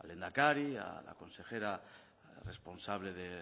al lehendakari a la consejera responsable de